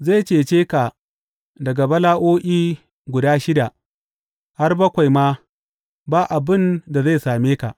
Zai cece ka daga bala’o’i guda shida; har bakwai ma ba abin da zai same ka.